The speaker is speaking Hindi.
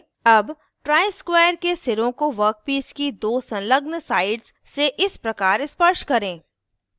अब ट्राइस्क्वायर के सिरों को वर्कपीस की दो संलग्न साइड्स से इस प्रकार स्पर्श करें